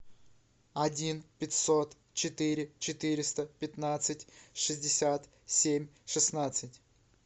один пятьсот четыре четыреста пятнадцать шестьдесят семь шестнадцать